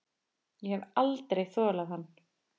Ég hef aldrei þolað hann.